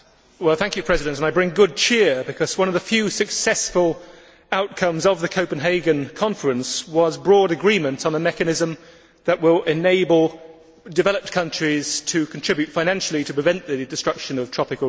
I bring good cheer because one of the few successful outcomes of the Copenhagen conference was broad agreement on a mechanism that will enable developed countries to contribute financially to prevent the destruction of tropical rain forests.